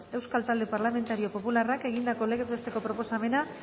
euskal talde parlamentario popularrak egindako legez besteko proposamena